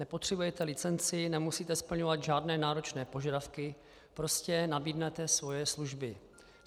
Nepotřebujete licenci, nemusíte splňovat žádné náročné požadavky, prostě nabídnete svoje služby.